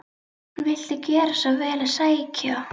Viltu gjöra svo vel að sækja